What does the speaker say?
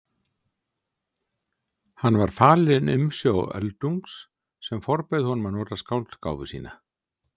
Hann var falinn umsjá Öldungs sem forbauð honum að nota skáldgáfu sína.